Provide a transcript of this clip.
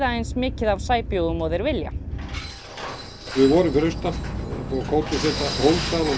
eins mikið af sæbjúgum og þeir vilja við vorum fyrir austan og